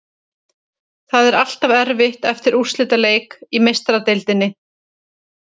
Það er alltaf erfitt eftir útileik í Meistaradeildinni.